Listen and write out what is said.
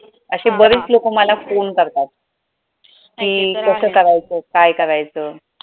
अशी बरीच लोकं मला phone करतात कि कसं करायच काय करायचं.